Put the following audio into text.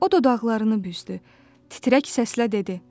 O dodaqlarını büzdü, titrək səslə dedi: